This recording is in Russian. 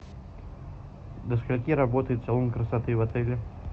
до скольки работает салон красоты в отеле